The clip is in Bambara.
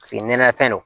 Paseke nɛnɛ fɛn don